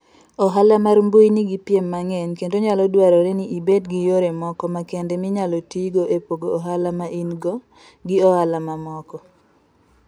Ohala mar mbui nigi piem mang'eny, kendo nyalo dwarore ni ibed gi yore moko makende minyalo tigo e pogo ohala ma in - go gi ohala mamoko.